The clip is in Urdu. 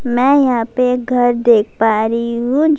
میں یہاں پی ایک گھر دیکھ پا رہی ہو-- میں یہاں پی ایک گھر دیکھ پا رہی ہو--